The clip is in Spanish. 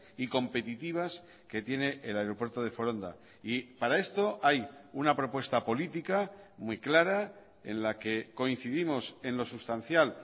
y competitivas que tiene el aeropuerto de foronda y para esto hay una propuesta política muy clara en la que coincidimos en lo sustancial